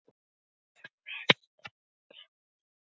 Hnípnir yfirfóru mennirnir vopn sín og búnað.